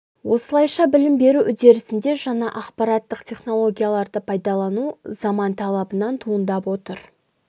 осылайша білім беру үдерісінде жаңа ақпараттық технологияларды пайдалану заман талабынан туындап отыр